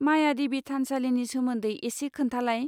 मायादेबि थानसालिनि सोमोन्दै एसे खोन्थालाय?